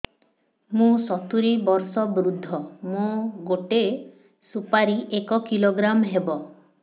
ମୁଁ ସତୂରୀ ବର୍ଷ ବୃଦ୍ଧ ମୋ ଗୋଟେ ସୁପାରି ଏକ କିଲୋଗ୍ରାମ ହେବ